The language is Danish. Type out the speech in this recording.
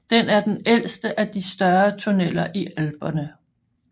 Den er den ældste af de større tunneler i Alperne